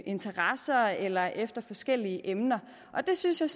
interesser eller efter forskellige emner det synes jeg